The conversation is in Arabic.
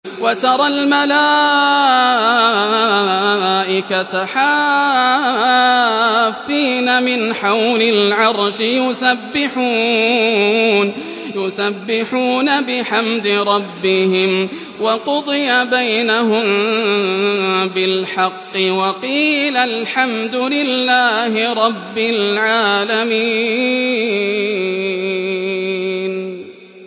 وَتَرَى الْمَلَائِكَةَ حَافِّينَ مِنْ حَوْلِ الْعَرْشِ يُسَبِّحُونَ بِحَمْدِ رَبِّهِمْ ۖ وَقُضِيَ بَيْنَهُم بِالْحَقِّ وَقِيلَ الْحَمْدُ لِلَّهِ رَبِّ الْعَالَمِينَ